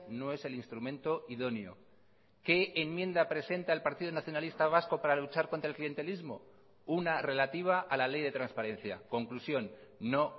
no es el instrumento idóneo qué enmienda presenta el partido nacionalista vasco para luchar contra el clientelismo una relativa a la ley de transparencia conclusión no